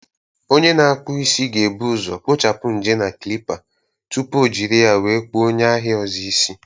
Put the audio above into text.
Onye na-akpụ isi ga-ebu ụzọ kpochapụ ñje na Klippa tupu O jiri ya wee kpuọ onye ahịa ọzọ isi